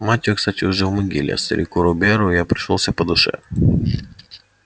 мать её кстати уже в могиле а старику робийяру я пришёлся по душе